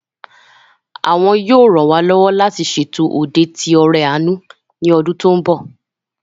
Àwọn yóò ran wá lọ́wọ́ láti ṣètò òde ìt'ọrẹ àánú ní ọdún tó mbọ̀